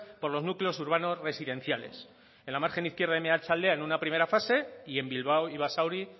por los núcleos urbanos residenciales en la margen izquierda y meatzaldea en una primera fase y en bilbao y basauri